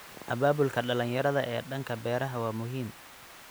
Abaabulka dhalinyarada ee dhanka beeraha waa muhiim.